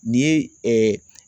N'i ye